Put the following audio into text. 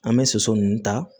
An bɛ soso ninnu ta